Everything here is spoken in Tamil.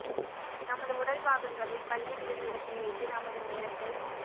நமது உடல் பாகங்களில் பல்லி விழும் இடத்தை வைத்து நமது நேரத்தை